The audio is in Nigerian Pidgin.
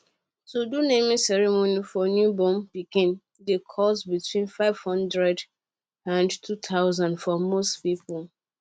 to do naming ceremony for new born pikin dey cost between 500 and 2000 for most people